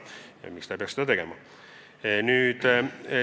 Ja miks ta ei peaks seda tegema?